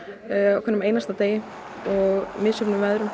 á hverjum einasta degi og misjöfnum veðrum